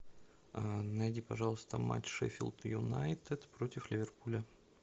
найди пожалуйста матч шеффилд юнайтед против ливерпуля